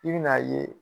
I bɛn'a ye